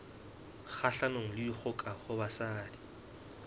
kgahlanong le dikgoka ho basadi